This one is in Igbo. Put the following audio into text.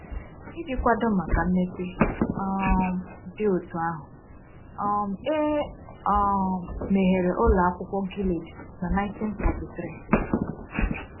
Iji kwado maka mmepe um dị otú ahụ, um e um meghere Ụlọ Akwụkwọ Gilead na 1943.